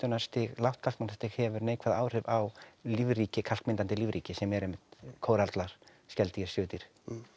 lágt hefur neikvæð áhrif á lífríki kalkmyndandi lífríki sem er einmitt kórallar skeldýr svifdýr